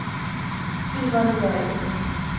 иван гай